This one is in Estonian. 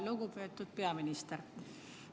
Lugupeetud peaminister!